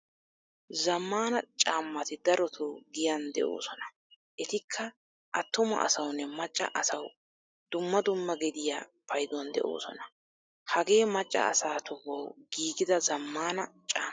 Zammaana caamati daroto giyan deosona. Etikka attuma asawunne macca asawu dumma dumma gediya payduwan deosona. Hagee macca asaa tohuwawu giigida zammaana caama.